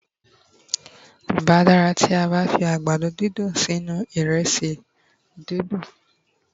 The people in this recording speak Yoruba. n bá dara ti a ba fi àgbàdo didun sí inú iresi dundun